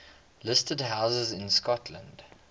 listed houses in scotland